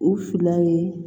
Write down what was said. U fila ye